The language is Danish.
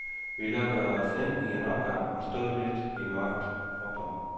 Vi lukkede os ind i en opgang og stod lidt i mørket. punktum